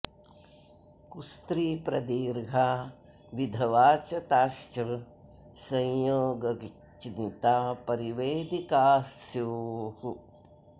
कुस्त्री प्रदीर्घा विधवा च ताश्च संयोगग्चिन्ता परिवेदिकाः स्युः